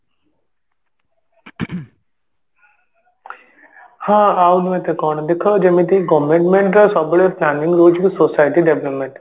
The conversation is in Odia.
ହଁ ଆଉ ନୁହେଁ ତ କଣ ଦେଖ ଯେମିତି government ର ସବୁବେଳେ planning ରହୁଛି କି society development